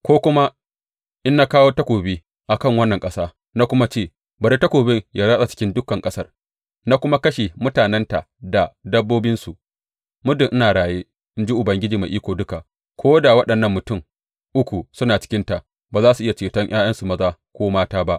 Ko kuma in na kawo takobi a kan wannan ƙasa na kuma ce, Bari takobin ya ratsa cikin dukan ƙasar,’ na kuma kashe mutanenta da dabbobinsu, muddin ina raye, in ji Ubangiji Mai Iko Duka, ko da waɗannan mutum uku suna cikinta, ba za su iya ceton ’ya’yansu maza ko mata ba.